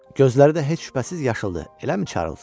Gözləri də heç şübhəsiz yaşıldı, eləmi Çarlz?